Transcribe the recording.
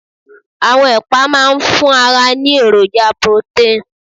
Àwọn ẹ̀pà máa ń fún ara ní èròjà protein